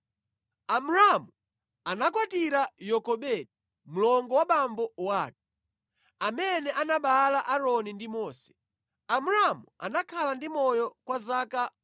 Amramu anakwatira Yokobedi mlongo wa abambo ake, amene anabereka Aaroni ndi Mose. Amramu anakhala ndi moyo kwa zaka 137.